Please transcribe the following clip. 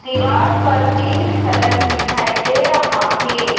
दीवार पर pink colour दिखाई दे रहा है।